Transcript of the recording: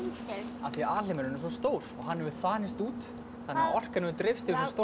af því alheimurinn er svo stór og hann hefur þanist út þannig að orkan hefur dreifst yfir svo stór